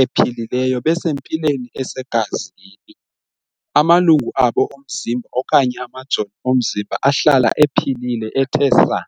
ephilileyo, besempilweni esegazini. Amalungu abo omzimba okanye amajoni omzimba ahlala ephilile ethe saa.